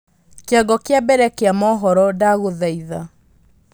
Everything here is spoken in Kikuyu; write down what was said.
kĩongo kĩa mbere kĩa mohoro ndagũthaitha